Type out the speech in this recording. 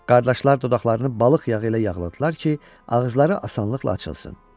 Qardaşlar dodaqlarını balıq yağı ilə yağladılar ki, ağızları asanlıqla açılsın.